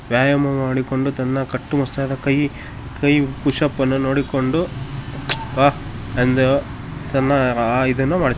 ವ್ಯಾಯಾಮ ಮಾಡಿಕೊಂಡು ತನ್ನ ಕಟ್ಟು ಮಷ್ಟಾದ ಕೈ ಪುಷ್ ಅಪ್ ಅನ್ನು ನೋಡಿಕೊಂಡು ಹಾಹ್ ಎಂದು ತನ್ನ ಆ ಇದನ್ನು ಮಾ--